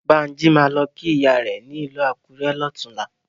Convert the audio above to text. Bánjí máa lọ kí ìyá rẹ̀ ní ìlú Akurẹ lọ́tùnlá.